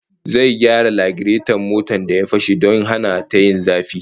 Zai gyara lagireton motar da ya fashe don hana ta yin zafi